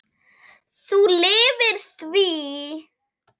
Þú lifðir því.